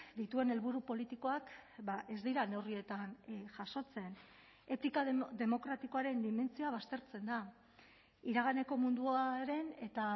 dituen helburu politikoak ez dira neurrietan jasotzen etika demokratikoaren dimentsioa baztertzen da iraganeko munduaren eta